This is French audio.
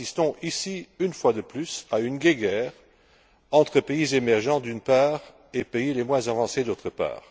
Nous assistons ici, une fois de plus, à une guéguerre entre pays émergents, d'une part, et pays les moins avancés, d'autre part.